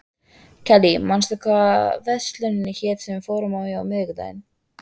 Kellý, manstu hvað verslunin hét sem við fórum í á miðvikudaginn?